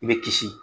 I bɛ kisi